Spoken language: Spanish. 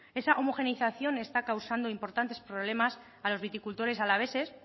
esa homogenización está causando importantes problemas a los viticultores alaveses